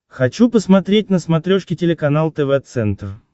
хочу посмотреть на смотрешке телеканал тв центр